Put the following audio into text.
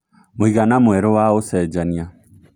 mũigana mwerũ wa ũcenjanĩa